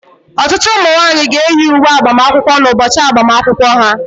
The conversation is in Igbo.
Ọtụtụ ụmụ nwanyị ga-eyi uwe agbamakwụkwọ n'ụbọchị agbamakwụkwọ ha